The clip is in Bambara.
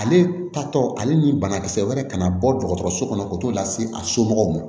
Ale taatɔ ale ni banakisɛ wɛrɛ kana bɔ dɔgɔtɔrɔso kɔnɔ o t'o lase a somɔgɔw ma